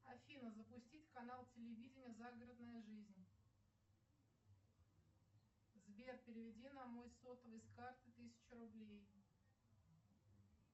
афина запустить канал телевидения загородная жизнь сбер переведи на мой сотовый с карты тысячу рублей